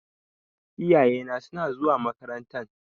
Iyayena suna zuwa makarantan.